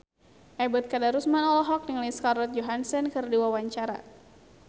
Ebet Kadarusman olohok ningali Scarlett Johansson keur diwawancara